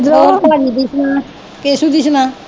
ਹੋਰ ਭਾਜੀ ਦੀ ਸੁਣਾ ਕੇਸੂ ਦੀ ਸੁਣਾ?